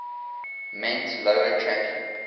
meant lower tracking